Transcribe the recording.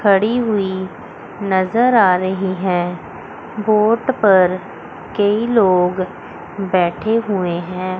खड़ी हुई नजर आ रही है बोट पर कई लोग बैठे हुए हैं।